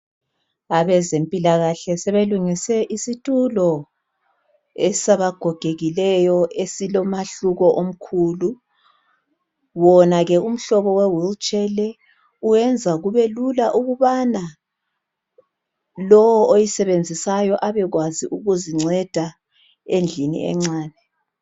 Abezempilakahle sebelungise isitulo esabagogekileyo esilomahluko omkhulu, wona ke umhlobo wewheelchair leyi uwenza kubelula ukubana lowo oyisebenzisayo abekwazi ukuzinceda endlini encane.